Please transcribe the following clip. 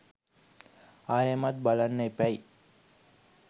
ආයෙමත් බලන්න එපැයි.